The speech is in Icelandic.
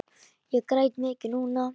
Ég græt mikið núna.